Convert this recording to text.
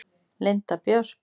Linda Björk.